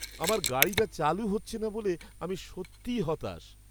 আমার গাড়িটা চালু হচ্ছে না বলে আমি সত্যিই হতাশ।